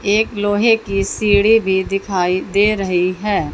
एक लोहे की सीढी भी दिखाई दे रही है।